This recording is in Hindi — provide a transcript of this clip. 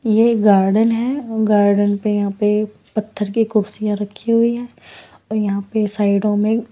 ये गार्डन हैं गार्डन पे यहाँ पे पत्थर की कुर्सियां रखी हुई हैं और यहाँ पे साइडों में--